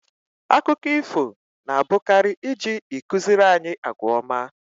Akụkọ ifo na abụkari iji ịkụziri anyị àgwà ọma